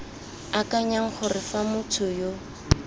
akanyang gore fa motho yo